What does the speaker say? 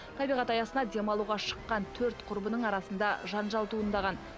табиғат аясына демалуға шыққан төрт құрбының арасында жанжал туындаған